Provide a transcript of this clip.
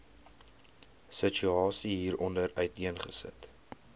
situasie hieronder uiteengesit